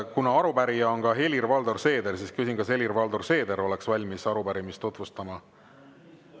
Kuna arupärijate hulgas on ka Helir-Valdor Seeder, siis küsin, kas Helir-Valdor Seeder oleks valmis arupärimist tutvustama.